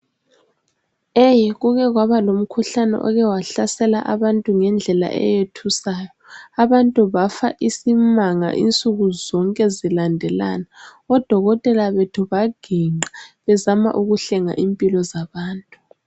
Kuke kwaba lomkhuhlane ohlasele abantu ngendlela eyethusayo, abantu bafa isimanga insuku zonke zilandelana, odokotela bethu baginqa bezama ukuhlenga impilo zabantu.